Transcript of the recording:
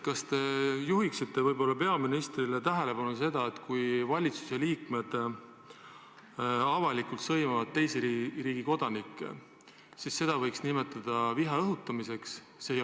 Kas te juhiksite peaministri tähelepanu sellele, et kui valitsuse liikmed avalikult sõimavad teise riigi kodanikke, siis seda võiks nimetada viha õhutamiseks?